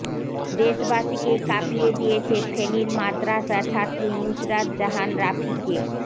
দেশবাসীকে কাপিয়ে দিয়েছে ফেনীর মাদ্রাসা ছাত্রী নুসরাত জাহান রাফিকে